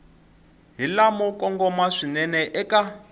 hi lamo kongoma swinene eka